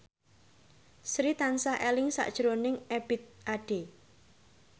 Sri tansah eling sakjroning Ebith Ade